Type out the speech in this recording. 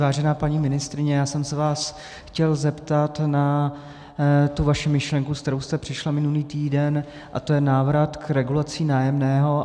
Vážená paní ministryně, já jsem se vás chtěl zeptat na tu vaši myšlenku, s kterou jste přišla minulý týden, a to je návrat k regulaci nájemného.